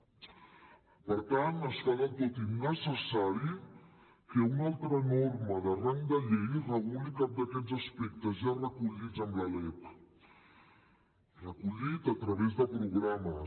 per tant es fa del tot innecessari que una altra norma de rang de llei reguli cap d’aquests aspectes ja recollits amb la lec recollits a través de programes